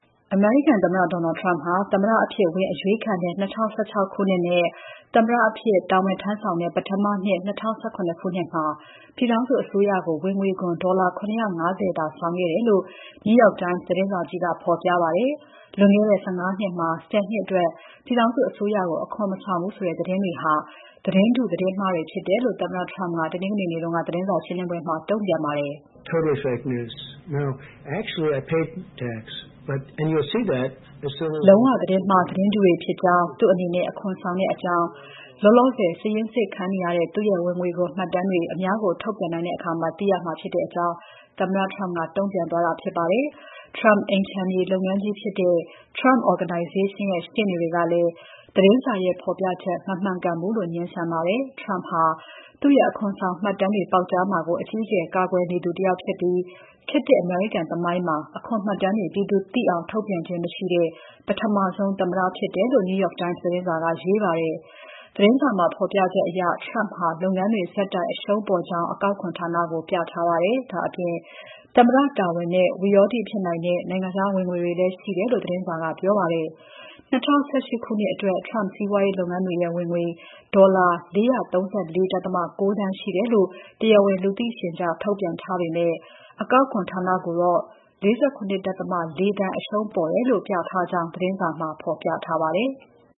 အမေရိကန်သမ္မတ Donald Trump ဟာ သမ္မတအဖြစ်ဝင်အရွေးခံတဲ့ ၂၀၁၆ ခုနှစ်နဲ့ သမ္မတအဖြစ် တာဝန်ဆောင်တဲ့ ပထမနှစ် ၂၀၁၇ ခုနှစ်မှာ ပြည်ထောင်စုအစိုးရကို ဝင်ငွေခွန် ဒေါ်လာ ၇၅၀ သာဆောင်ခဲ့တယ်လို့ The New York Times သတင်းစာကြီးက ဖော်ပြပါတယ်။ လွန်ခဲ့တဲ့ ၁၅ နှစ်မှာ ၁၀ နှစ်အတွက် ပြည်ထောင်စုအစိုးရကို အခွန်မဆောင်ဘူးဆိုတဲ့ သတင်းတွေဟာ သတင်းတု သတင်းမှားဖြစ်တယ်လို့ သမ္မတ Trump ကတနင်္ဂနွေနေ့က သတင်းစာရှင်းလင်းပွဲမှာ တုံ့ပြန်ခဲ့ပါတယ်။ လုံးဝ သတင်းမှား၊ သတင်းတုတွေဖြစ်ကြောင်း၊ သူ့အနေနဲ့ အခွန်ဆောင်ကြောင်း၊ လောလောဆယ် စာရင်းစစ်ခံနေရတဲ့ သူ့ရဲ့ ဝင်ငွေခွန်ဆောင်မှတ်တမ်းတွေ အများကို ထုတ်ပြန်နိုင်တဲ့အခါ သိရမှာဖြစ်ကြောင်း သမ္မတ Trump တုံ့ပြန်သွားတာဖြစ်ပါတယ်။ Trump အိမ်ခြံမြေလုပ်ငန်းကြီးဖြစ်တဲ့ Trump Organization ရဲ့ ရှေ့နေတွေကလည်း သတင်းစာရဲ့ ဖော်ပြချက်မှာ မမှန်ကန်ဘူးလို့ ငြင်းဆန်ပါတယ်။ Trump ဟာ သူ့ရဲ့ အခွန်ဆောင်မှတ်တမ်းတွေ ပေါက်ကြားမှာကို အကြီးအကျယ် ကာကွယ်နေသူတယောက်ဖြစ်ပြီး၊ ခေတ်သစ်အမေရိကန်သမိုင်းမှာ အခွန်မှတ်တမ်းတွေ ပြည်သူသိအောင် ထုတ်ပြန်ခြင်းမရှိတဲ့ ပထမဆုံး သမ္မတဖြစ်တယ်လို့ NYT သတင်းကရေးပါတယ်။ The New York Times သတင်းစာမှာ ဖော်ပြချက်အရ Trump ဟာ လုပ်ငန်းတွေ ဆက်တိုက် အရှုံးပေါ်ကြောင်း အကောက်ခွန်ဌာနကို ပြထားပါတယ်။ ဒါ့အပြင် သမ္မတတာဝန်နဲ့ ဝိရောဓိဖြစ်နိုင်တဲ့ နိုင်ငံခြား ဝင်ငွေတွေလည်း ရှိတယ်လို့ သတင်းစာကပြောပါတယ်။ ၂၀၁၈ ခုနှစ်အတွက် Trump စီးပွားရေးလုပ်ငန်းတွေရဲ့ ဝင်ငွေ ဒေါ်လာ ၄၃၄.၉ သန်းရှိတယ်လို့ တရားဝင် လူသိရှင်ကြား ထုတ်ပြန်ထားပေမဲ့၊ အကောက်ခွန်ဌာနကိုတော့ ၄၇.၄ သန်းအရှုံးပေါ်တယ်လို့ ပြထားကြောင်း သတင်းထဲမှာ ဖော်ပြပါတယ်။